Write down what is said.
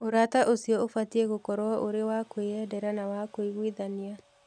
Ũrata ũcio ũbatiĩ gũkorũo ũrĩ wa kwĩyendera na wa kũiguithania.